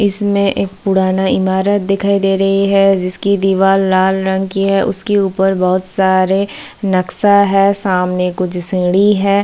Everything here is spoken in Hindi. इसमें एक पुराना ईमारत दिखाई दे रही है जिसकी दीवाल लाल रंग की है उसके ऊपर बहुत सारे नक्शा है सामने कुछ सीढ़ी है।